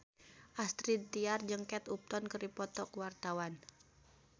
Astrid Tiar jeung Kate Upton keur dipoto ku wartawan